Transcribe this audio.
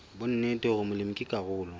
bonnete hore molemi ke karolo